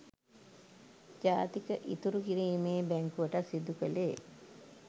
ජාතික ඉතුරු කිරීමේ බැංකුවටත් සිදු කලේ.